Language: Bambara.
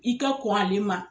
I ka kɔn ale ma.